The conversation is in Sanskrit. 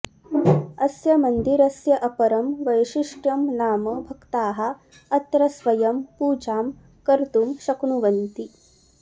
अस्य मन्दिरस्य अपरं वैशिष्ट्यं नाम भक्ताः अत्र स्वयं पूजां कर्तुं शक्नुवन्ति